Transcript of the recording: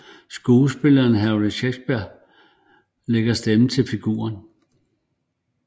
Skuespilleren Harry Shearer lægger stemme til figuren